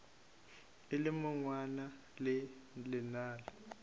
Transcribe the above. e le monwana le lenala